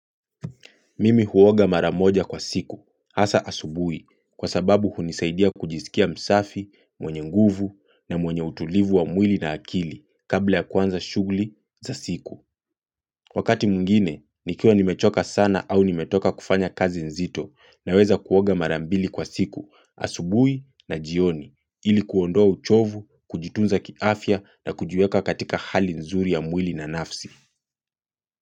Mimi huoga maramoja kwa siku, hasa asubuhi, kwa sababu hunisaidia kujisikia msafi, mwenye nguvu na mwenye utulivu wa mwili na akili kabla ya kuanza shughuli za siku. Wakati mwingine, nikiwa nimechoka sana au ni metoka kufanya kazi nzito na weza kuoga marambili kwa siku, asubuhi na jioni, ili kuondoa uchovu, kujitunza kiafya na kujiweka katika hali nzuri ya mwili na nafsi.